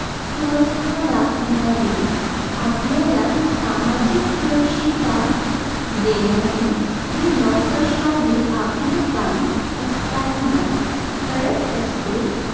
सुव्यवस्था राखणारी, आपल्याला सामाजिक सुरक्षितता देणारी ही नोकरशाही आपले काम सातत्याने करत असते.